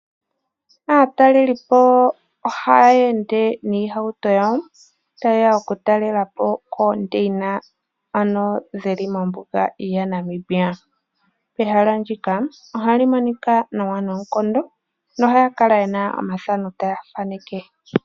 Aatalelipo ohaya ende niihauto yayo tayeya oku talela po omandeyina geli mombuga ya Namibia. Ehala ndika ohali monika nawa noonkondo. Ohaya kala yena omathano taya thaneke.